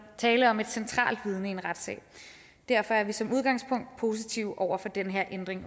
tale om et centralt vidne i en retssag derfor er vi som udgangspunkt også positive over for den her ændring